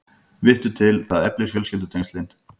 Vittu til, það eflir fjölskyldutengslin.